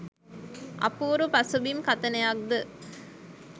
අපූරු පසුබිම් කථනයක් ද